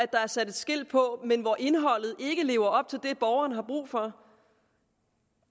der er sat et skilt på men hvor indholdet ikke lever op til det borgeren har brug for